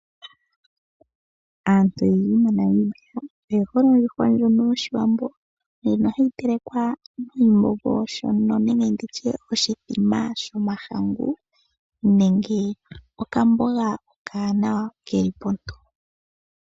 Aantu oyendji moNamibia oyehole ondjuhwa ndjono yoshiwambo ndjono hayi telekwa noshimbombo nenge nditye oshithima shomahangu nenge okamboga okawanawa keli ponto.